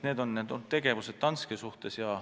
Need on olnud sammud Danske suhtes.